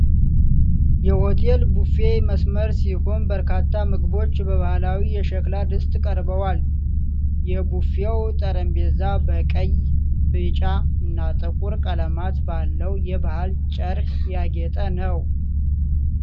የሆቴል ቡፌ መስመር ሲሆን፣ በርካታ ምግቦች በባህላዊ የሸክላ ድስት ቀርበዋል። የቡፌው ጠረጴዛ በቀይ፣ ቢጫና ጥቁር ቀለማት ባለው የባህል ጨርቅ ያጌጠ ነው።